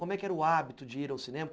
Como é que era o hábito de ir ao cinema?